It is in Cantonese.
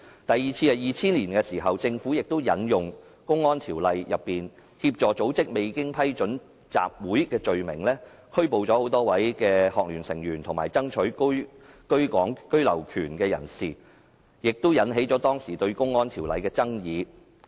第二次是在2000年，政府亦引用《公安條例》所訂有關協助組織未經批准集結的罪行，拘捕多位香港專上學生聯會的成員及爭取居港權的人士，引起當時對《公安條例》的爭議。